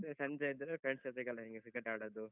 ಮತ್ತೆ ಸಂಜೆ ಆದ್ರೆ friends ಜೊತೆಗೆಲ್ಲ ಹಿಂಗೆ cricket ಆಡುದು.